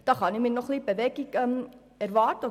Diesbezüglich kann ich mir noch Bewegung erhoffen.